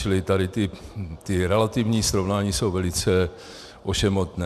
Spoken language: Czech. Čili tady ta relativní srovnání jsou velice ošemetná.